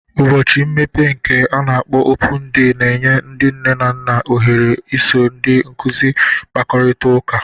Ụbọchị mmepe nke ana-akpọ Opụñu De na-enye ndị nne na nna ohere iso ndị nkuzi kpakọrịta ụka.